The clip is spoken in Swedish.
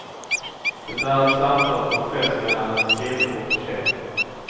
Det är ett samtal på en fest mellan en kille och tjej.